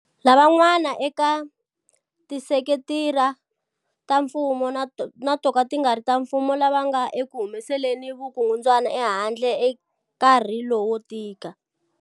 Lavan'wana eka tisekitara ta mfumo na toka ti nga ri ta mfumo lava nga ekuhumeseleni vuku ngudwana ehandle eka nkarhi lowo tika.